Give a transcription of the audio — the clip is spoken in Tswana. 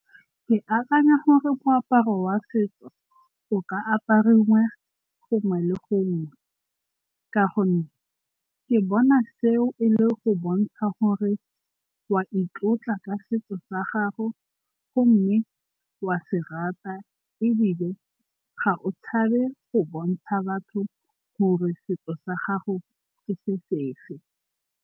Ke akanya gore moaparo wa setso o ka apariwa gongwe le gongwe ka gonne ke bona seo e le go bontsha gore wa itlotla ka setso sa gago gomme wa se rata ebile ga o tshabe go bontsha batho gore setso sa gago ke se se fe.